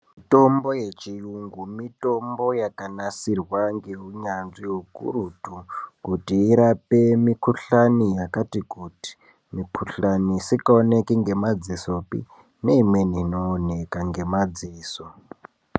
Mitombo yechiyungu, mitomba yakanasirwa ngeunyanzvi hukurutu kuti irape mikhuhlani yakati kuti mikhuhlani isikaoneki ngamadzisopi neimweni inooneka ngamadziso.